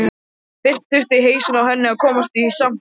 Fyrst þurfi hausinn á henni að komast í samt lag.